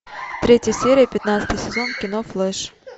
третья серия пятнадцатый сезон кино флэш